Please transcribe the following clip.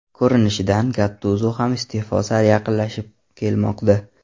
Ko‘rinishidan Gattuzo ham iste’fo sari yaqinlashib kelmoqda.